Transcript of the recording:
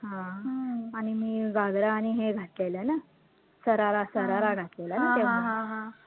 हा आणि मी घागरा आणि हे घातलेलं ना, शरारा शरारा घातलेला ना तेव्हा